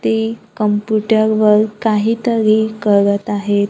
ते कम्प्युटर वर काहीतरी करत आहेत.